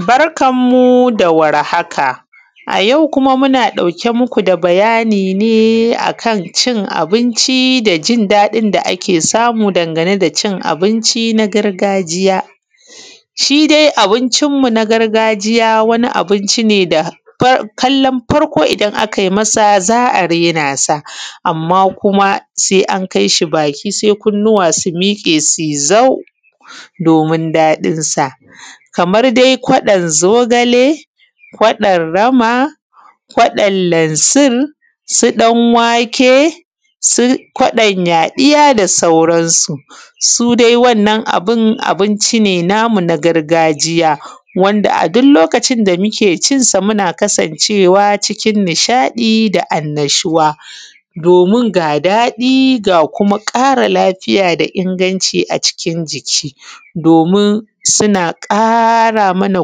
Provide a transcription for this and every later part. Barkanmu da warhaka. A yau kuma muna ɗauke muku da bayani ne kan cin abinci da ɗin da ake samu danganeda cin abinci gargajiya. Shi dai abincinmu gargajiya wani abinci ne da kallon farko idan a kai masa za a raina sa amma kuma sai an kai shi baki sai kunnuwa su miƙe sui zau domin daɗinsa. Kaman dai kwaɗon zogale, kwaɗon rama, kwaɗon lansir, su ɗan wake, su kwaɗon yaɗiya da sauransu. su dai wannan abun abinci ne namu na garjiya wanda a duk lokacin da muke cinsa muna kasancewa cikin nishaɗi da annashuwa. Domin ga daɗi ga kuma ƙara lafiya da inganci a cikin jiki domin suna ƙara mana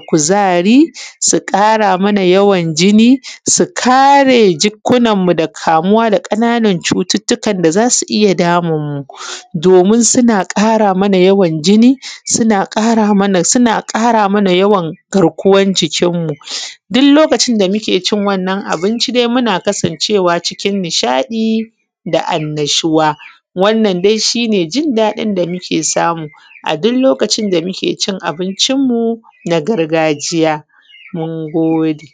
kuzari, su ƙara mana yawan jini, su kare jikkunanmu da kamuwa da ƙananan cututtukan da za su iya damunmu domin suna ƙara mana yawan jini, suna ƙara mana suna ƙara mana yawan garkuwan jikinmu. Duk lokacin da muke cin wannan abinci dai muna kasancewa cikin nishaɗi da annashuwa, wannan dai shi ne jin daɗin da muke samu a duk lokacin da muke cin abincinmu na gargajiya. Mun gode.